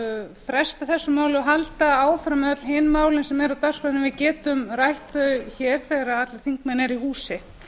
fresta þessu máli og halda áfram með öll hin málin sem eru á dagskránni við getum rætt þau hér þegar allir þingmenn eru í